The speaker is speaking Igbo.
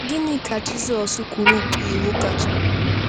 Gịnị ka Jizọs kwuru bụ iwu kachanụ?